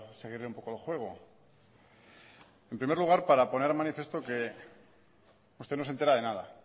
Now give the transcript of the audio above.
seguirle un poco el juego en primer lugar para poner de manifiesto que usted no se entera de nada